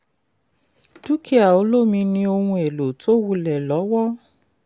dúkìá olómi ni ohun èlò tó wulẹ̀ lọ́wọ́.